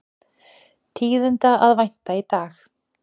Tíðinda að vænta í dag